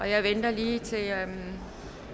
jeg venter lige til alle